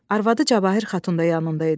Arvadı Cabahir xatun da yanında idi.